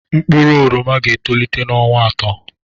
Mkpụrụ oroma ga-etolite n'ọnwa atọ.